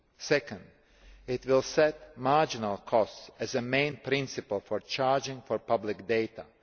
Second, it will set marginal costs as the main principle for charging for public data.